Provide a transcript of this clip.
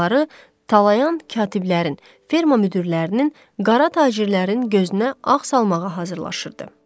Onları talayan katiblərin, ferma müdirlərinin, qara tacirlərin gözünə ağ salmağa hazırlaşırdı.